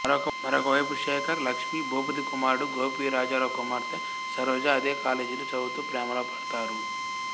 మరొక వైపు శేఖర్ లక్ష్మి భూపతి కుమారుడు గోపి రాజారావు కుమార్తె సరోజ అదే కాలేజీలో చదువుతూ ప్రేమలో పడతారు